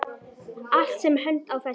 Allt sem hönd á festir.